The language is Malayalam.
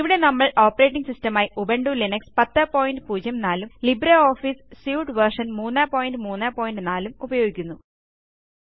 ഇവിടെ നമ്മൾ ഓപ്പറേറ്റിംഗ് സിസ്റ്റം ആയി ഉബുണ്ടു ലിനക്സ് 1004 ഉം ലിബ്ര ഓഫീസി സ്യുട്ട് വേർഷൻ 334 ഉപയോഗിക്കുന്നു